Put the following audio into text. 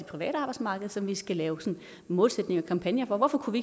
private arbejdsmarked som vi skal lave sådanne målsætninger og kampagner for hvorfor kunne